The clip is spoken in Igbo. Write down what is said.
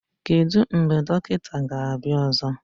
Kedu mgbe dọkịta ga-abịa ọzọ?